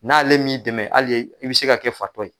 N'ale m'i dɛmɛ hali i bɛ se ka kɛ fatɔ ye